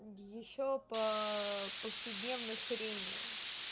ещё по повседневной хрени